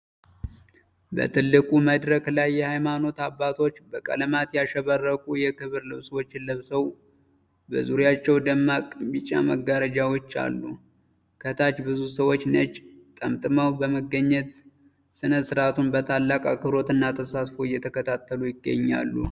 በትልቁ መድረክ ላይ፣ የሃይማኖት አባቶች በቀለማት ያሸበረቁ የክብር ልብሶችን ለብሰው፣ በዙሪያቸው ደማቅ ቢጫ መጋረጃዎች አሉ። ከታች ብዙ ሰዎች ነጭ ጠምጥመው በመገኘት፣ ሥነ-ሥርዓቱን በታላቅ አክብሮትና ተሳትፎ እየተከታተሉ ይገኛሉ።